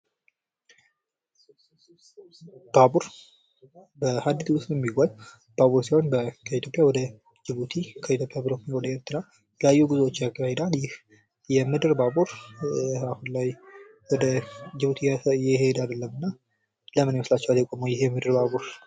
ባቡር በሀድድ መስመር የሚጓዝ ባባቡር ሲሆን ከኢትዮጵያ ወደ ጅቡቲ ፤ከኢትዮጵያ ወደ ኤርትራ የተለያዩ ጉዞዎችን ያካሂዳል። ይህ የምድር ባቡር አሁን ላይ ወደ ጅቡቲ እየሄደ አይደለምና ለምን ይመስላችኋልን የቆመው ይህ የምድር ባቡር?